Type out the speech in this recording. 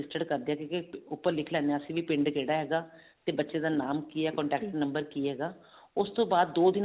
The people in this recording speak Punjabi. ਕਰਦੇ ਹਾਂ ਕਿਉਂਕਿ ਉੱਪਰ ਲਿਖ ਲੈਂਦੇ ਹਾਂ ਅਸੀਂ ਵੀ ਪਿੰਡ ਕਿਹੜਾ ਹੈਗਾ ਤੇ ਬੱਚੇ ਦਾ ਨਾਮ ਕੀ ਹੈ contact number ਕੀ ਹੈਗਾ ਉਸਤੋਂ ਬਾਅਦ ਦੋ